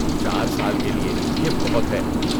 چار سال کے لئے، یہ بہت ہے